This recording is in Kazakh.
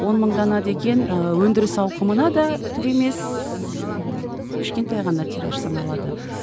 он мың дана деген ы өндіріс ауқымына да түк емес ммм кішкентай ғана тираж саналады